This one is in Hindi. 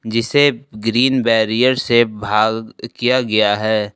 जिसे ग्रीन बैरियर से भाग किया गया है।